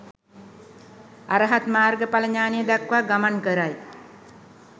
අරහත් මාර්ග ඵල ඥානය දක්වා ගමන් කරයි.